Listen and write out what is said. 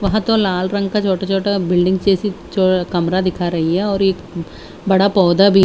वहां तो लाल रंग का छोटा छोटा बिल्डिंग जैसी चौ कमरा दिखा रही है और एक बड़ा पौधा भी--